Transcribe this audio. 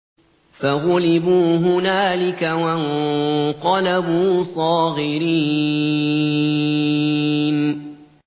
فَغُلِبُوا هُنَالِكَ وَانقَلَبُوا صَاغِرِينَ